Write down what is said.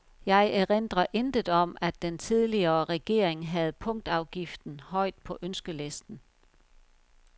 Jeg erindrer intet om, at den tidligere regering havde punktafgiften højt på ønskelisten.